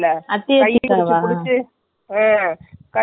அதுல கொடு கொடு போட்ட மஞ்ச color சீலை காட்டுன.